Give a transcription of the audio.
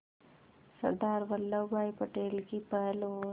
सरदार वल्लभ भाई पटेल की पहल और